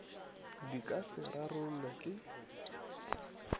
di ka se rarollwego ke